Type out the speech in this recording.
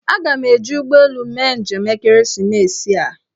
Aga m eji ụgbọelu mee njem n'ekeresimesi a